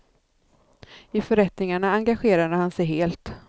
I förrättningarna engagerade han sig helt.